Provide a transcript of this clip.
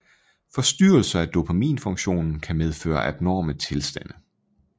Forstyrrelser af dopaminfunktionen kan medføre abnorme tilstande